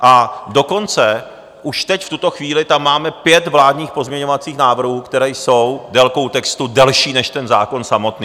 A dokonce už teď, v tuto chvíli tam máme pět vládních pozměňovacích návrhů, které jsou délkou textu delší než ten zákon samotný.